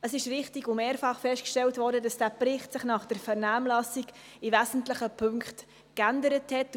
Es ist richtig und wurde mehrfach festgestellt, dass dieser Bericht sich nach der Vernehmlassung in wesentlichen Punkten geändert hat.